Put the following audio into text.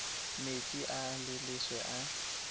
metsi a a leswe a